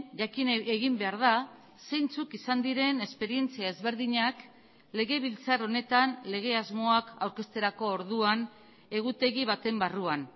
jakin egin behar da zeintzuk izan diren esperientzia ezberdinak legebiltzar honetan lege asmoak aurkezterako orduan egutegi baten barruan